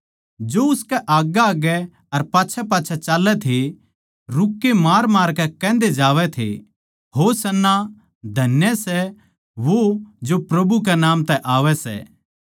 जो उसकै आग्गैआग्गै अर पाच्छैपाच्छै चाल्लै थे रुक्के मारमारकै कहन्दे जावै थे होशाना धन्य सै वो जो प्रभु कै नाम तै आवै सै